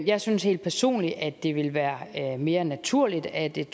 jeg synes helt personligt at det ville være mere naturligt at et